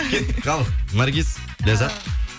кеттік ал наргиз ляззат